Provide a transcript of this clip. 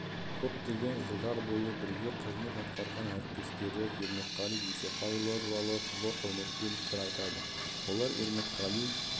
көптеген жылдар бойы бірге қызмет атқарған әріптестері ермекқали дүйсеқайұлы туралы зор құрметпен пікір айтады олар ермекқали